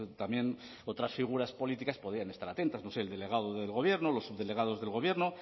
también otras figuras políticas podían estar atentas no sé el delegado del gobierno los subdelegados del gobierno